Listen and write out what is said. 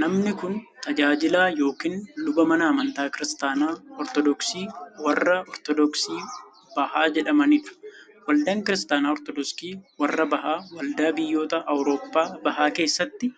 Namni kun, tajaajilaa yokin luba mana amantaa Kiristaana Ortodooksii warra Ortodooksii bahaa jedhamanii dha. Waldaan Kiristaana Ortodooksii warra bahaa waldaa biyyoota awurooppaa bahaa keessatti